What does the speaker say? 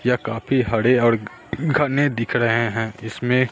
यह काफी हरे और घने दिख रहे हैं इसमें--